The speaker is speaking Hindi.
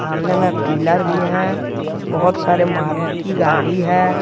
सामने में पिलर भी है बहुत सारे मारुति गाड़ी है।